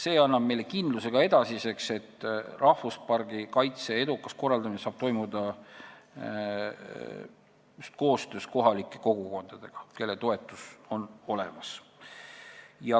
See annab meile ka edasiseks kindluse, et rahvuspargi kaitse edukas korraldamine saab toimuda just koostöös kohalike kogukondadega, kelle toetus on olemas.